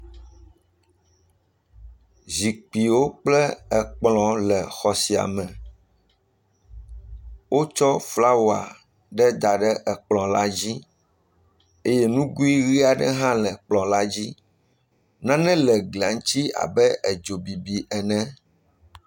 Zikpuiwo kple ekplɔ le xɔ sia me. Wotsɔ flawa aɖe da ɖe ekplɔ la dzi eye nugui ʋi aɖe hã le ekplɔ la dzi. Nane le eglia ŋuti abe edzobibi ene.